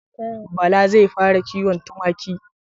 Bala zai fara kiwon tumaki.